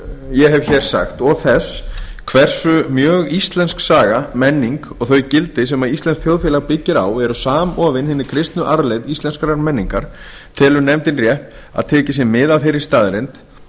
ég hef hér sagt og þess hversu mjög íslensk saga menning og þau gildi sem íslenskt þjóðfélag byggist á eru samofin hinni kristnu arfleifð íslenskrar menningar telur nefndin rétt að tekið sé mið af þeirri staðreynd